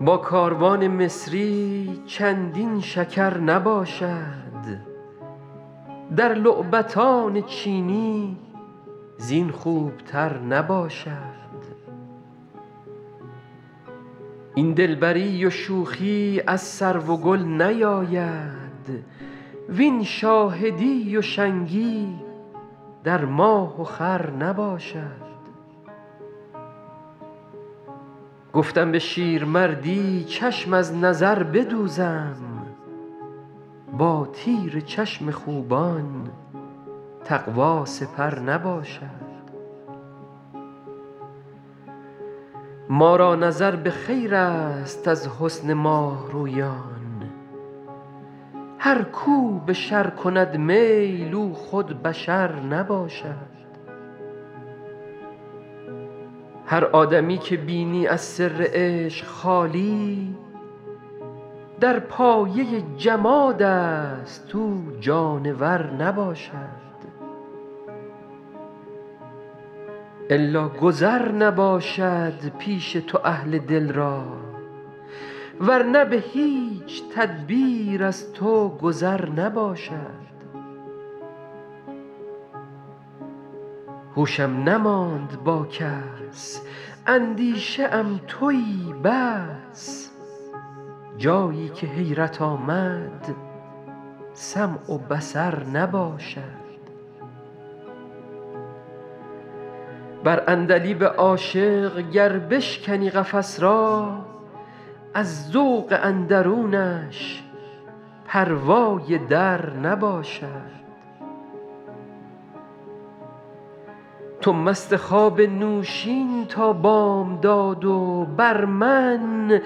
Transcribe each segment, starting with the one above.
با کاروان مصری چندین شکر نباشد در لعبتان چینی زین خوبتر نباشد این دلبری و شوخی از سرو و گل نیاید وین شاهدی و شنگی در ماه و خور نباشد گفتم به شیرمردی چشم از نظر بدوزم با تیر چشم خوبان تقوا سپر نباشد ما را نظر به خیرست از حسن ماه رویان هر کو به شر کند میل او خود بشر نباشد هر آدمی که بینی از سر عشق خالی در پایه جمادست او جانور نباشد الا گذر نباشد پیش تو اهل دل را ور نه به هیچ تدبیر از تو گذر نباشد هوشم نماند با کس اندیشه ام تویی بس جایی که حیرت آمد سمع و بصر نباشد بر عندلیب عاشق گر بشکنی قفس را از ذوق اندرونش پروای در نباشد تو مست خواب نوشین تا بامداد و بر من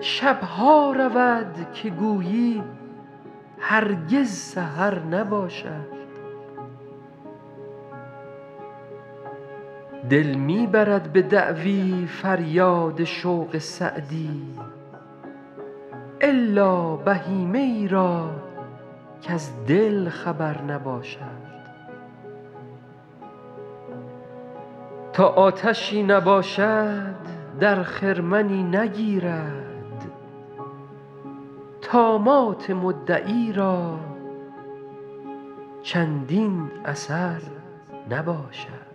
شب ها رود که گویی هرگز سحر نباشد دل می برد به دعوی فریاد شوق سعدی الا بهیمه ای را کز دل خبر نباشد تا آتشی نباشد در خرمنی نگیرد طامات مدعی را چندین اثر نباشد